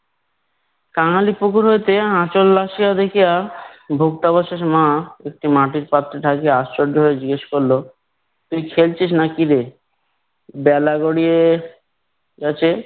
কাঙালি পুকুর হইতে আঁচল ভাসিয়া দেখিয়া ভোক্তাবশেষ মা একটি মাটির পাত্রে ঢাকিয়া আশ্চর্য হয়ে জিজ্ঞেস করলো তুই খেলছিস নাকিরে। বেলা গড়িয়ে গেছে